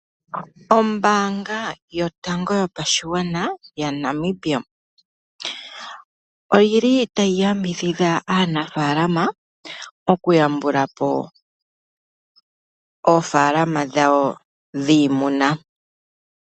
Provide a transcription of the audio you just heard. Ombanga yotango yopashigwana yaNamibia oyili tayi yambidhidha aanafalama oku yambulapo oofalama dhawo dhiimuna.